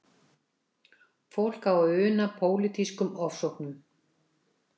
Fólk á að una pólitískum ofsóknum.